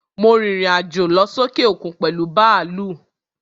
Mo rìrìn àjò lọ sókè òkun pèlú bàlúù.